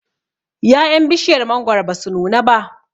ya'yan bishiyar mangwaro basu nuna ba